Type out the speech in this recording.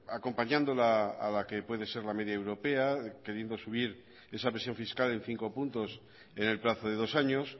acompañándola a la que puede ser la media europea queriendo subir esa presión fiscal en cinco puntos en el plazo de dos años